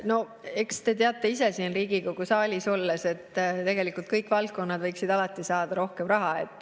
No eks te teate ise siin Riigikogu saalis olles, et tegelikult kõik valdkonnad võiksid alati saada rohkem raha.